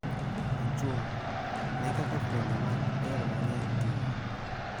Ochung� ne kaka fuoni mag del mang�eny tiyo.